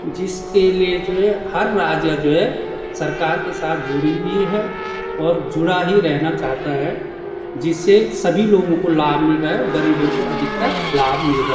जिसके लिए जो है हर राज्य जो है सरकार के साथ जुड़ी हुई है और जुड़ा ही रहना चाहता है जिससे सभी लोगों को लाभ मिल रहा है और गरीबों को अधिकतर लाभ मिल रहा --